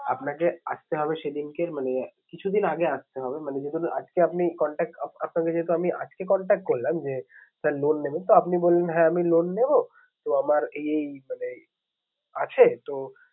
আপনাকে আসতে হবে সেদিনকে মানে কিছুদিন আগে আসতে হবে মানে আজকে আপনি contract আপনাকে যেহেতু আমি আজকে contract করলাম যে sir loan নেবেন তো? আপনি বললেন হ্যাঁ আমি loan নেবো। তো আমার এই মানে আছে তো